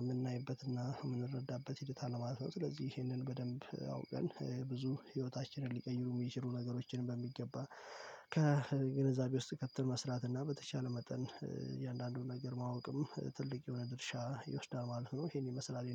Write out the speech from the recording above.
የምናይበትና የምንረዳበት ሂደት አለ። ማለት ነው። ስለዚህ ይሄንን በደንብ አውቀን ብዙ ህይወታችንን ሊቀይሩ የሚችሉ ነገሮችን በሚገባ ከግንዛቤ ውስጥ ከተን መስራት እና በተቻለ መጠን እያንዳንዱን ነገር ማወቅም ትልቅ የሆነ ድርሻ ይወስዳል። ማለት ነው። ይሄን ይመስላል።